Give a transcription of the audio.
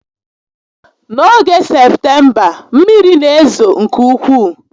N'oge Septemba, mmiri n'ezo nke ukwuu